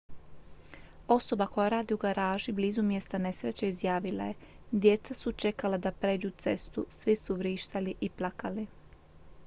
osoba koja radi u garaži blizu mjesta nesreće izjavila je djeca su čekala da pređu cestu svi su vrištali i plakali